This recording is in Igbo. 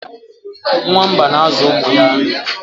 nwamba na-azụ ụmụ ya nri